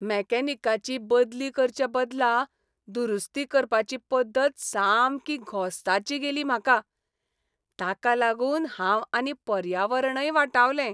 मेकॅनिकाची बदली करचे बदला दुरुस्ती करपाची पद्दत सामकी घोस्ताची गेली म्हाका. ताका लागून हांव आनी पर्यावरणय वाटावलें.